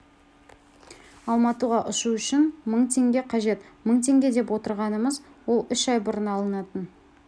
алматыға ұшу үшін мың теңге қажет мың теңге деп отырғанымыз ол үш ай бұрын алынатын